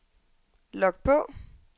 log på